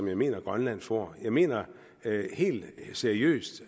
jeg mener grønland får jeg mener helt seriøst